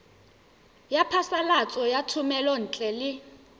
ya phasalatso ya thomelontle le